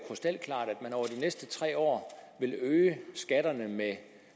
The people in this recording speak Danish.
næste tre år vil øge skatterne med